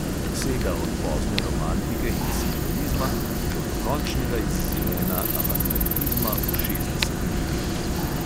Sega od pozne romantike in simbolizma do dokončnega izzvena avantgardizma v šestdesetih letih.